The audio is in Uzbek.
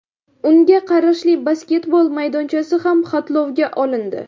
Unga qarashli basketbol maydonchasi ham xatlovga olindi.